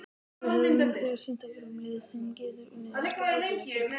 Við höfum nú þegar sýnt að við erum lið sem getur unnið marga útileiki.